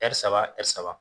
saba saba.